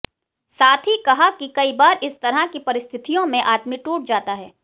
साथ ही कहा कि कई बार इस तरह की परिस्थितियों में आदमी टूट जाता है